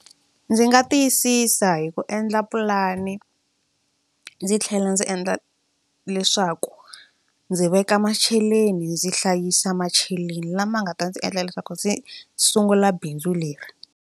Ndzi nga tiyisisa hi ku endla pulani ndzi tlhela ndzi endla leswaku ndzi veka macheleni ndzi hlayisa macheleni lama nga ta ndzi endla leswaku ndzi sungula bindzu leri.